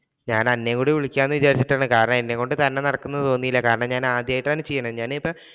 ഞാൻ അന്നേം കൂടി വിളിക്കാം എന്ന് വിചാരിച്ചിട്ടാണ് കാരണം എന്നെ കൊണ്ട് തോന്നീല കാരണം ഞാൻ ആദ്യമായിട്ടാണ് ചെയ്യുന്നത്. ഞാൻ ഇപ്പോൾ